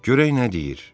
Görək nə deyir.